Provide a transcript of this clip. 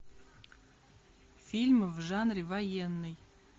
фильмы в жанре военный